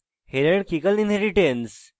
hierarchical inheritance